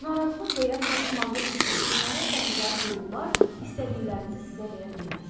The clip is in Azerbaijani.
Narazılıq və ya çatışmazlıq hissi, bunlara bənzər duyğular istədiklərinizi sizə verə bilməz.